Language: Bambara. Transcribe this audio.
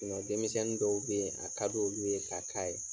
denmisɛnni dɔw be ye, a kadi olu ye ka k'a ye.